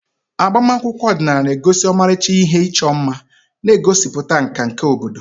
Agbamakwụkwọ ọdịnala na-egosi ọmarịcha ihe ịchọ mma, na-egosipụta nka nke obodo.